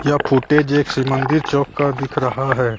यह फुटेज एक श्री मंदिर चौक का दिख रहा है।